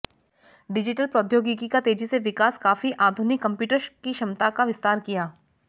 digital प्रौद्योगिकी का तेजी से विकास काफी आधुनिक कंप्यूटर की क्षमता का विस्तार किया